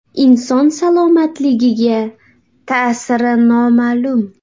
Inson salomatligiga ta’siri noma’lum.